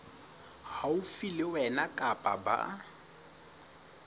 haufi le wena kapa ba